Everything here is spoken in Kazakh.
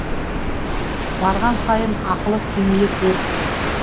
барған сайын ақылы кеңейе беріпті